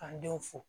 K'an denw fo